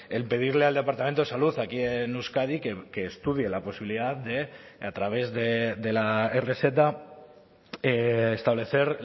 el pedirle al departamento de salud aquí en euskadi que estudie la posibilidad de a través de la e rezeta establecer